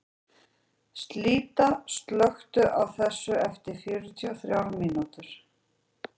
Síta, slökktu á þessu eftir fjörutíu og þrjár mínútur.